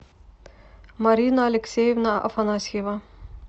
марина алексеевна афанасьева